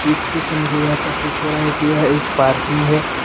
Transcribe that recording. मुझे यह प्रतीत हो रहा है कि यह एक पार्किंग है।